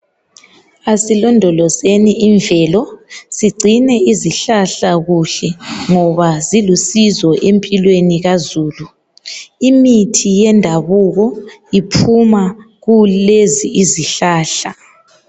Asilondolozeni imvelo, sigcine izihlahla kuhle ngoba zilusizo empilweni kazulu. Imithi yendabuko iphuma kulezi izihlahla.